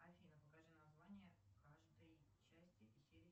афина покажи название каждой части и серии